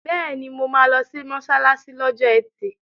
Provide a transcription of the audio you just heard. Bẹ́ẹ̀ni, mo máa lọ sí mọ́ṣáláṣí lọ́jọ́ ẹtì.